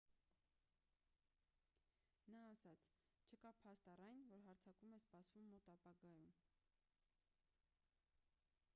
նա ասաց չկա փաստ առ այն որ հարձակում է սպասվում մոտ ապագայում